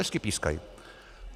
Hezky pískají!